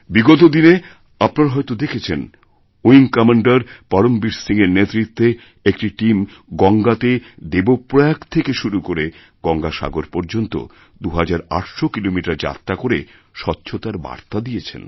বিগত দিনে আপনারা হয়তদেখেছেন উইং কমান্ডের পরমবীর সিংএর নেতৃত্বে একটি টিম গঙ্গাতে দেবপ্রয়াগ থেকেশুরু করে গঙ্গাসাগর পর্যন্ত ২৮০০ কিলোমিটার যাত্রা করে স্বচ্ছতার বার্তা দিয়েছেন